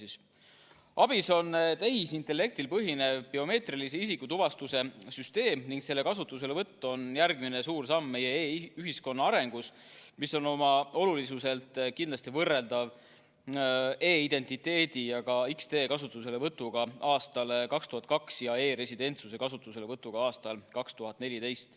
ABIS on tehisintellektil põhinev biomeetrilise isikutuvastuse süsteem ning selle kasutuselevõtt on järgmine suur samm meie e-ühiskonna arengus, mis on oma olulisuselt kindlasti võrreldav e-identiteedi ja ka X-tee kasutuselevõtuga aastal 2002 ja e-residentsuse kasutuselevõtuga aastal 2014.